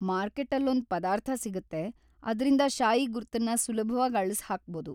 ಮಾರ್ಕೆಟ್ಟಲ್ಲೊಂದ್‌ ಪದಾರ್ಥ ಸಿಗುತ್ತೆ, ಅದ್ರಿಂದ ಶಾಯಿ ಗುರ್ತನ್ನ ಸುಲಭ್ವಾಗ್‌ ಅಳ್ಸ್‌ ಹಾಕ್ಬೋದು.